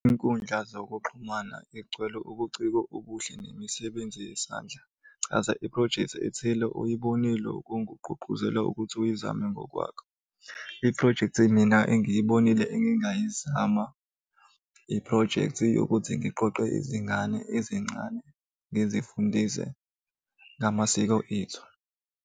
Iy'nkundla zokuxhumana eygcwele ubuciko obuhle nemisebenzi yesandla. Chaza iphrojekthi ethile oyibonile okungugqugquzela ukuthi uyizame ngokwakho. Iphrojekthi mina engiyibonile engingayizama, iphrojekthi yokuthi ngiqoqe izingane ezincane ngizifundise ngamasiko ethu.